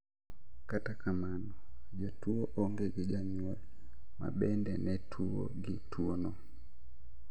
Kata kamano jatuo onge gi janyuol ma bende ne tuo gi tuo no